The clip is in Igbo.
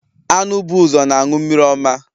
Anụ bụ ụzọ na anụ mmiri ọma.